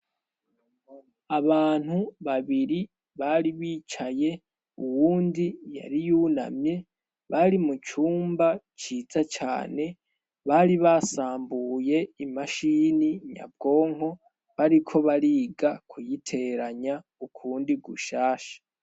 Abantu babiri bari bicaye uwundi yariyunamye bari mu cumba ciza cane bari basambuye imashini nyabwonko bariko bariga kuyiteranya ukundi gushasha.